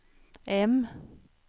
M